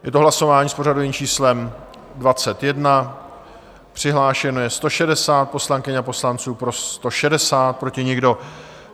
Je to hlasování s pořadovým číslem 21, přihlášeno je 160 poslankyň a poslanců, pro 160, proti nikdo.